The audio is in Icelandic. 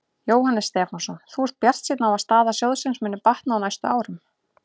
Jóhannes Stefánsson: Þú ert bjartsýnn á að staða sjóðsins muni batna á næstu árum?